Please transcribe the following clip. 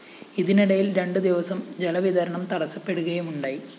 ഇതിനിടയില്‍ രണ്ട് ദിവസം ജല വിതരണം തടസപ്പെടുകയുമുണ്ടായി